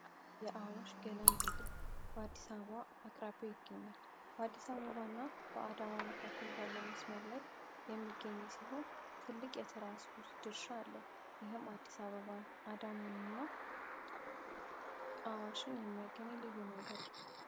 የአዋሽ ገላንድልዴ በአዲሳ ባ አቅራቢው ይገኛል። በአዲሳ በባ እና በአዳማ መካከል ባለው መስመር ላይ የሚገኘ ሲሆን ትልቅ የተራንስፖርት ድርሻ አለው። ይህም አዲስ አበባን እና አዋሽን የሚያገነኝ ልዩ መንገድ ነው።